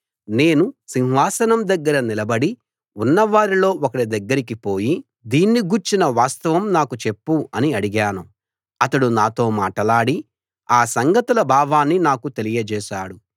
నేను సింహాసనం దగ్గర నిలబడి ఉన్న వారిలో ఒకడి దగ్గరికిపోయి దీన్ని గూర్చిన వాస్తవం నాకు చెప్పు అని అడిగాను అతడు నాతో మాటలాడి ఆ సంగతుల భావాన్ని నాకు తెలియజేశాడు